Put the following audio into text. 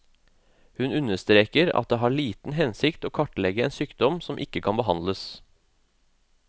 Hun understreker at det har liten hensikt å kartlegge en sykdom som ikke kan behandles.